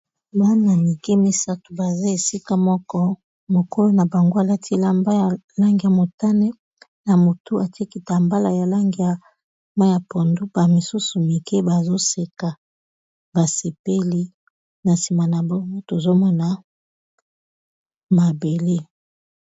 bana mike misato baza esika moko mokolo na bango alati elamba ya langi ya motane na motu ati kitambala ya langi ya mai ya pondu ba misusu mike bazoseka, basepeli na sima na bango tozomona mabele.